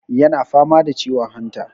yana fama da ciwon hanta